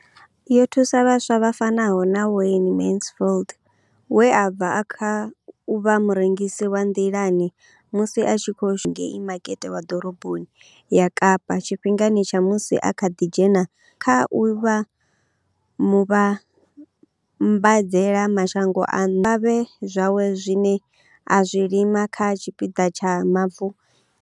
Yo thusa vhaswa vha fanaho na Wayne Mansfield u bva Paarl, we a bva kha u vha murengisi wa nḓilani musi a tshi khou shumela malume awe ngei makete wa ḓoroboni ya Kapa tshifhingani tsha musi a kha ḓi dzhena tshikolo u ya kha u vha muvhambadzela mashango a nnḓa zwikavhavhe zwawe zwine a zwi lima kha tshipiḓa tsha mavu.